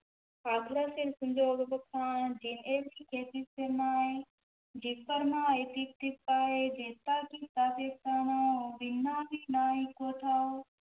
ਅਖਰਾ ਸਿਰਿ ਸੰਜੋਗੁ ਵਖਾਣਿ, ਜਿਨਿ ਏਹਿ ਲਿਖੇ ਤਿਸੁ ਸਿਰਿ ਨਾਹਿ, ਜਿਵ ਫੁਰਮਾਏ ਤਿਵ ਤਿਵ ਪਾਹਿ, ਜੇਤਾ ਕੀਤਾ ਤੇਤਾ ਨਾਉ, ਵਿਣੁ ਨਾਵੈ ਨਾਹੀ ਕੋ ਥਾਉ,